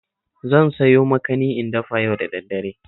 Zan sayo makani in dafa yau da daddare